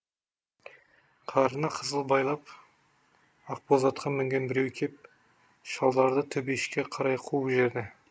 қарына қызыл байлап ақ боз атқа мінген біреу кеп шалдарды төбешікке қарай қуып жіберді